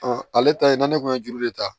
ale ta ye na ne kun ye juru de ta